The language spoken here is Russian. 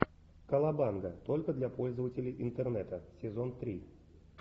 колобанга только для пользователей интернета сезон три